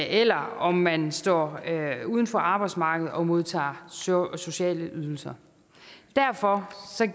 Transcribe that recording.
eller om man står uden for arbejdsmarkedet og modtager sociale ydelser derfor